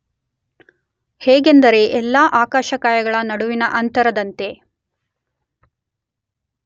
ಹೇಗೆಂದರೆ ಎಲ್ಲಾ ಆಕಾಶಕಾಯಗಳ ನಡುವಿನ ಅಂತರದಂತೆ.